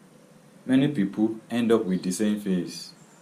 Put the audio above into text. many pipo end up wit di same face